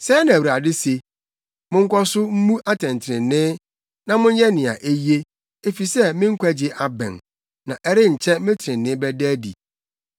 Sɛɛ na Awurade se: “Monkɔ so mmu atɛntrenee na monyɛ nea eye, efisɛ me nkwagye abɛn na ɛrenkyɛ me trenee bɛda adi.